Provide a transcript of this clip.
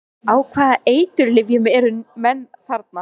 Á hvaða eiturlyfjum eru menn þarna?